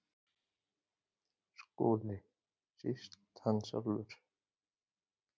SKÚLI: Síst hann sjálfur.